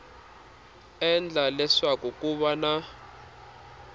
endla leswaku ku va na